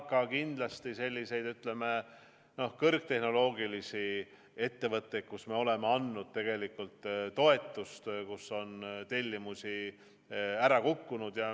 Ja ka sellised, ütleme, kõrgtehnoloogilised ettevõtted, kellele me oleme andnud toetust, kui on tellimusi ära kukkunud.